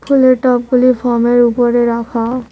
ফুলের টবগুলি ফোমের ওপরে রাখা।